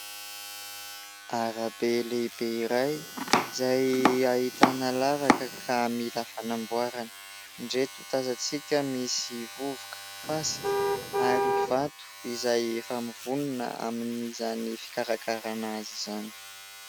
Arabe lehibe iray izay ahitana lavaka ka mila fanamboarany. Indreto tazantsika misy vovoka, fasika ary vato izay efa mivonona amin'izany fikarakarana azy izany.